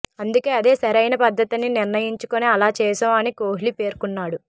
అందుకే అదే సరైన పద్ధతని నిర్ణయించుకొని అలా చేశాం అని కోహ్లి పేర్కొన్నాడు